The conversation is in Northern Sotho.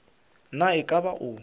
na e ka ba o